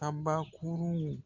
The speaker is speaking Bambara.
An ba kuruw